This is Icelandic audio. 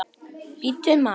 Bíddu, maður.